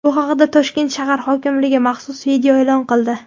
Bu haqda Toshkent shahar hokimligi maxsus video e’lon qildi.